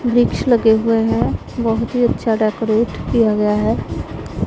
वृक्ष लगे हुए हैं बहुत ही अच्छा डेकोरेट किया गया है।